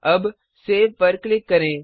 अब सेव पर क्लिक करें